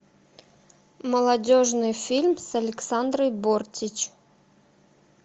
молодежный фильм с александрой бортич